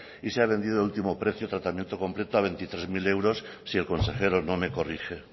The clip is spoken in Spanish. y se ha vendido el último precio tratamiento completo a veintitrés mil euros si el consejero no me corrige